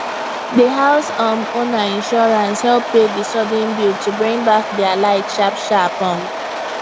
d house um owner insurance help pay the sudden bill to bring back their light sharp sharp um